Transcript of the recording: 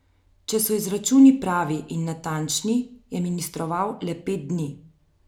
Če so izračuni pravi in natančni, je ministroval le pet dni.